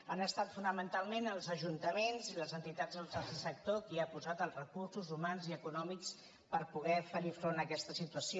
han estat fonamentalment els ajuntaments i les entitats del tercer sector qui han posat els recursos humans i econòmics per poder fer front a aquesta situació